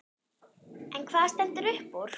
En hvað stendur uppúr?